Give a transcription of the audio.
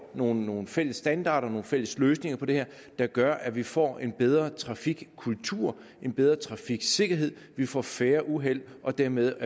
nogle nogle fælles standarder nogle fælles løsninger på det her der gør at vi får en bedre trafikkultur en bedre trafiksikkerhed vi får færre uheld og dermed